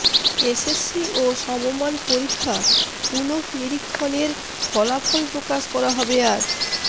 SSC ও সমমান পরীক্ষা পুনঃনিরীক্ষণের ফলাফল প্রকাশ করা হবে আজ